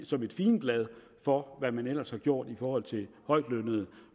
som et figenblad for hvad man ellers har gjort i forhold til højtlønnede